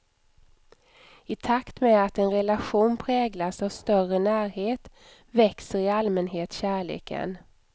I takt med att en relation präglas av större närhet, växer i allmänhet kärleken.